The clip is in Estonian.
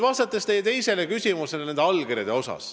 Vastan nüüd teie teisele küsimusele nende allkirjade kohta.